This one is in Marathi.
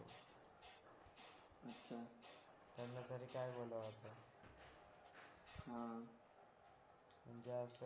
हा म्हणजे असं